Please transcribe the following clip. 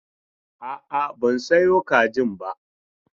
A'a, ban sayo kajin ba.